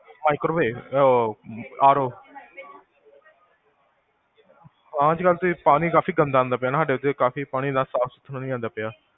microwave, ਅਹ ਹਮ RO ਹਾਂ ਅੱਜਕਲ ਤੇ ਪਾਣੀ ਕਾਫੀ ਗੰਦਾ ਅੰਦਾ ਪਿਆ ਨਾ ਸਾਡੇ ਇਥੇ ਪਾਣੀ, ਕਾਫੀ ਸਾਫ਼ ਸੁਥਰਾ ਨੀ ਆਂਦਾ ਪਿਆ